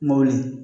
Mobili